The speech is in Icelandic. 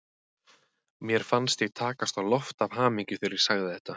Mér fannst ég takast á loft af hamingju þegar ég sagði þetta.